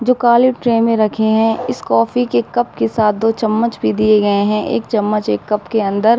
जो काली ट्रे में रखे है। इस कॉफी के कप के साथ दो चम्मच भी दिए गए हैं। एक चम्मच एक कप के अंदर --